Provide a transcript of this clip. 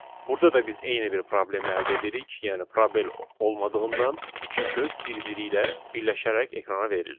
Burada da biz eyni bir problemi əldə edirik, yəni probel olmadığından iki söz bir-biri ilə birləşərək ekrana verildi.